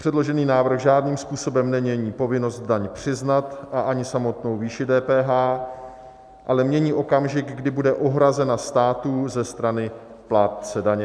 Předložený návrh žádným způsobem nemění povinnost daň přiznat a ani samotnou výši DPH, ale mění okamžik, kdy bude uhrazena státu ze strany plátce daně.